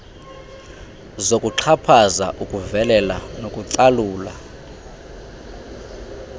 zokuxhaphaza ukuvelela nokucalula